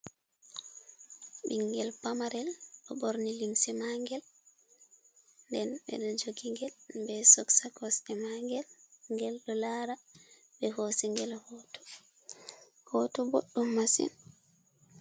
Ɓinngel pamarel ɗo ɓorni limse mangel, nden ɓe joogi gel be soks ha kosɗe magel, ngel ɗo lara be hosigel hoto, hoto boɗɗum masin.